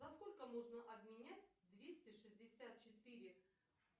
за сколько можно обменять двести шестьдесят четыре